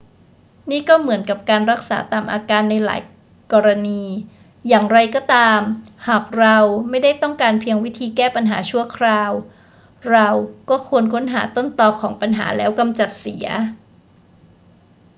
นี่ก็เหมือนกับการรักษาตามอาการในหลายกรณี อย่างไรก็ตาม หากเราไม่ได้ต้องการเพียงวิธีแก้ปัญหาชั่วคราว เราก็ควรค้นหาต้นตอของปัญหาแล้วกำจัดเสีย